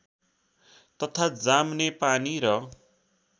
तथा जामनेपानी र